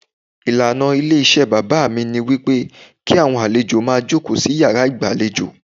Ìlànà ilé iṣẹ́ bàbá mi ní wípé kí àwọn àlejò máa jókòó sí yàrá ìgbà lejò.